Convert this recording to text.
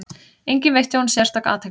Enginn veitti honum sérstaka athygli.